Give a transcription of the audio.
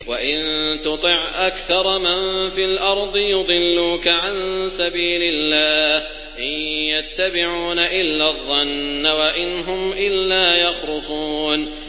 وَإِن تُطِعْ أَكْثَرَ مَن فِي الْأَرْضِ يُضِلُّوكَ عَن سَبِيلِ اللَّهِ ۚ إِن يَتَّبِعُونَ إِلَّا الظَّنَّ وَإِنْ هُمْ إِلَّا يَخْرُصُونَ